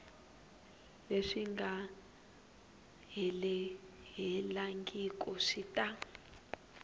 leswi nga helelangiku swi ta